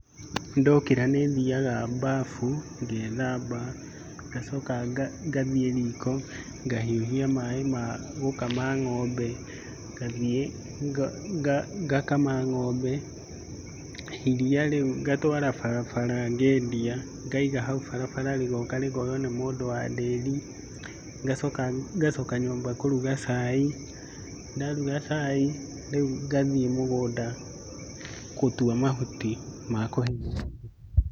Ndokĩra nĩ thiaga bafu ngethamba, ngacoka nga ngathiĩ riko ngahiũhia maaĩ ma gũkama ng'ombe, ngathiĩ ngakama ng'ombe, iria rĩu ngatwara barabara ngendia, ngaiga hau barabara rĩgoka rĩkonywo nĩ mũndũ wa ndĩri, ngacoka ngacoka nyũmba ngaruga cai, ndaruga cai rĩu ngathiĩ mũgũnda gũtua mahuti ma kũhe ng'ombe.